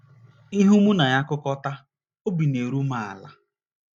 Ihu mụ na ya kukọta, obi na - eru m ala.